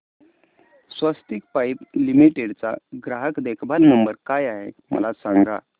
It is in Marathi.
स्वस्तिक पाइप लिमिटेड चा ग्राहक देखभाल नंबर काय आहे मला सांगा